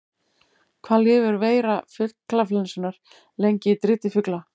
Hvað lifir veira fuglaflensunnar lengi í driti fugla?